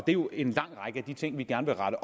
jo en lang række af de ting vi gerne vil rette